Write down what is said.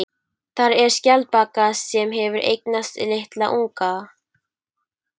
Þar er skjaldbaka sem hefur eignast litla unga.